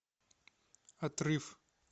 отрыв